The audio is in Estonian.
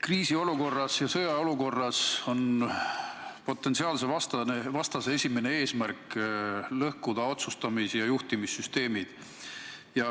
Kriisiolukorras ja sõjaseisukorra ajal on potentsiaalse vastase esimene eesmärk lõhkuda otsustamis- ja juhtimissüsteemid.